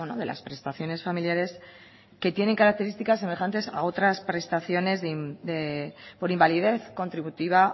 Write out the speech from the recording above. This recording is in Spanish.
de las prestaciones familiares que tiene características semejantes a otras prestaciones por invalidez contributiva